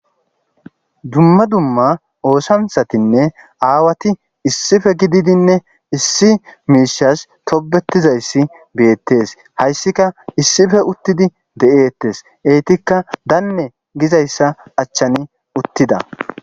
dumma dumma oosantsatinne aawati issife gididinne issi miishas tobetizayssi beettees hayssika issife uttidi de7eettes eetikka daanne gizayssa achchani uttida